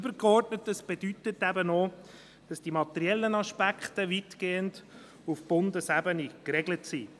Übergeordnet, das bedeutet eben auch, dass die materiellen Aspekte weitgehend auf Bundesebene geregelt sind.